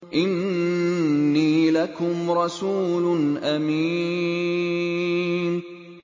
إِنِّي لَكُمْ رَسُولٌ أَمِينٌ